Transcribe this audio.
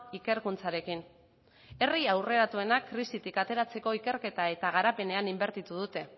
ikerkuntzarekin herri aurreratuenak krisitik ateratzeko ikerketa eta garapenean inbertitu dute